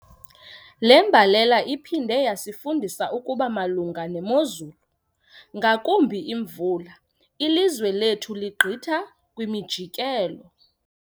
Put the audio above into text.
Le mbalela iphinde yasifundisa ukuba malunga nemozulu ngakumbi imvula, ilizwe lethu ligqitha kwimijikelo.